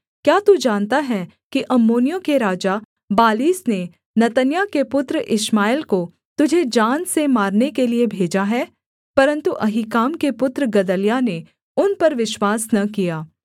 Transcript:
क्या तू जानता है कि अम्मोनियों के राजा बालीस ने नतन्याह के पुत्र इश्माएल को तुझे जान से मारने के लिये भेजा है परन्तु अहीकाम के पुत्र गदल्याह ने उन पर विश्वास न किया